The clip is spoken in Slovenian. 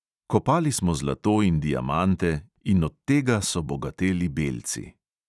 Kopali smo zlato in diamante in od tega so bogateli belci.